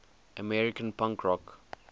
american punk rock